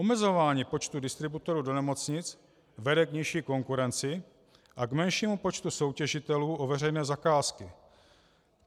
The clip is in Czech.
Omezování počtu distributorů do nemocnic vede k nižší konkurenci a k menšímu počtu soutěžitelů o veřejné zakázky.